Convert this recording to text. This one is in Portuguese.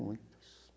Muitas.